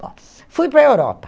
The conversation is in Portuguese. Bom, fui para a Europa.